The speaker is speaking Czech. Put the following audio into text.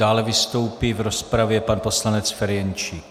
Dále vystoupí v rozpravě pan poslanec Ferjenčík.